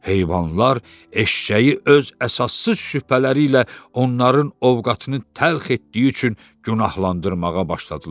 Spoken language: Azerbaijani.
Heyvanlar eşşəyi öz əsassız şübhələri ilə onların ovqatını təlx etdiyi üçün günahlandırmağa başladılar.